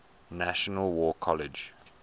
national war college